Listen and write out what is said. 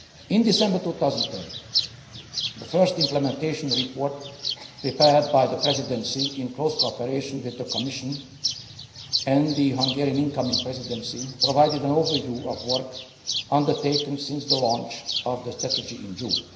In December 2010, the first implementation report prepared by the Presidency, in close cooperation with the Commission and the incoming Hungarian Presidency, provided an overview of work undertaken since the launch of the strategy in June.